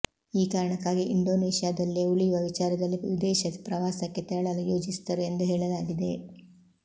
ಈ ಕಾರಣಕ್ಕಾಗಿ ಇಂಡೋನೇಷ್ಯಾದಲ್ಲೇ ಉಳಿಯುವ ವಿಚಾರದಲ್ಲಿ ವಿದೇಶ ಪ್ರವಾಸಕ್ಕೆ ತೆರಳಲು ಯೋಜಿಸಿದ್ದರು ಎಂದು ಹೇಳಲಾಗಿದೆ